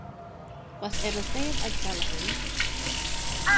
Hvað eru þeir að tala um?